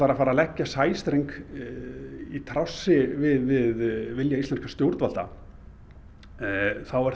að fara að leggja sæstreng í trássi við vilja íslenskra stjórnvalda þá er